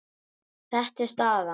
Þetta er staðan.